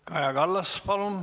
Kaja Kallas, palun!